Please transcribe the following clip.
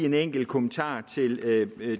en enkelt kommentar til